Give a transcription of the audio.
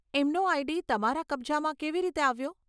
એમનો આઈડી તમારા કબજામાં કેવી રીતે આવ્યો?